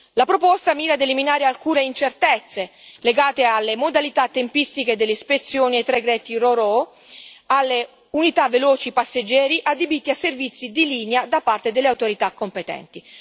La proposta mira a eliminare alcune incertezze legate alle modalità tempistiche delle ispezioni dei traghetti Ro Ro e alle unità veloci passeggeri adibite a servizi di linea da parte delle autorità competenti.